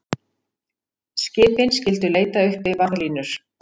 Skipin skyldu leita uppi varðlínur